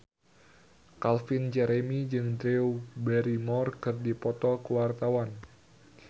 Calvin Jeremy jeung Drew Barrymore keur dipoto ku wartawan